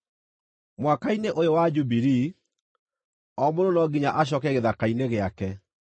“ ‘Mwaka-inĩ ũyũ wa Jubilii, o mũndũ no nginya acooke gĩthaka-inĩ gĩake.